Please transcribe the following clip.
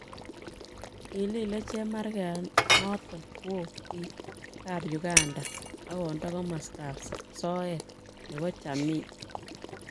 kilile chemarget noton woon biik ab Uganda akonda komastab soet nebo chamii